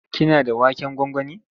Kina da waken gwangwani?